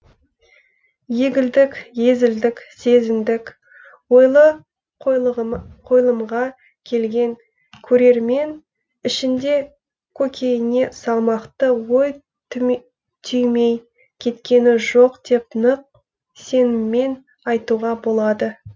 егілдік езілдік сезіндік ойлы қойылымға келген көрермен ішінде көкейіне салмақты ой түймей кеткені жоқ деп нық сеніммен айтуға болады